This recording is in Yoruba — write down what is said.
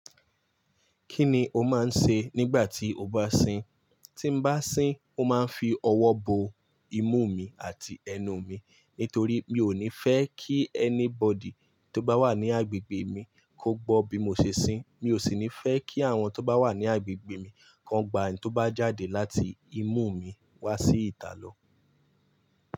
Kí ni o máa ń ṣe nígbà tí o bá sìn? Tí n bá sìn, ó máa ń fi ọwọ́ bo imú mi àti ẹnu mi nítorí mi ò ní fẹ́ kí ẹni bọ̀dí tó bá wà ní agbègbè mi kó gbọ́ bí mo ṣe sìn. Mi ò sì ní fẹ́ kí àwọn tó bá wà ní agbègbè mi kan gba ń tó bá jáde láti imú mi wá sí ìta lọ.